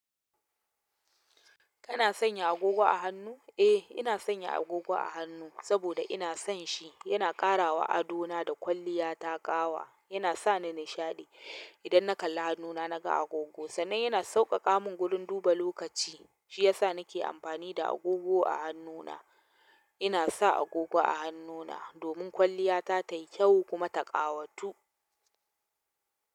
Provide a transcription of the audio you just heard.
Kana sanya agogo a hannu? Eh, ina sanya agogo a hannu saboda ina son shi. Yana ƙara wa ado na da kwalliya ta ƙawa. Yana sa ni nishaɗi idan na kalla hannuna naga agogo, sannan yana sauƙaƙa mun gurun duba lokaci. Shi ya sa nake amfani da agogo a hannuna. Ina sa agogo a hannuna domin kwalliya ta tayi kyau kuma ta ƙawatu.